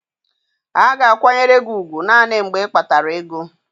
A ga-akwanyere gị ugwu naanị mgbe ịkpatara ego.